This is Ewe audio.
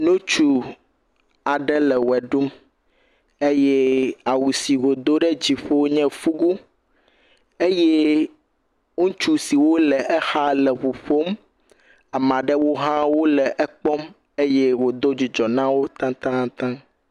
Nutsu aɖe le wo ɖum eye awu si wòdo ɖe dzi nye fugu. Eye ŋutsu siwo le exa leŋu ƒom amaa ɖewo hã wole ekpɔm eye wòdo dzidzɔ na wo taŋtaataŋ.